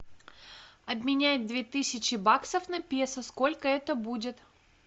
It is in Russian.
обменять две тысячи баксов на песо сколько это будет